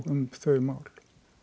um þau mál